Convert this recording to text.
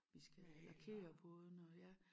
Vi skal lakere bådene og ja